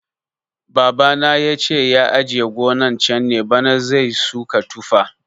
Baba na yace ya ajiye gonan can ne bana zai suka tufa